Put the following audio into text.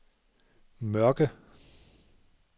Mørke